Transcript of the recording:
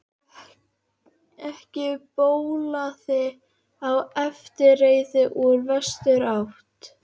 Ekki bólaði á eftirreið úr vesturátt.